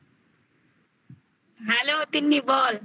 hello Tinni বল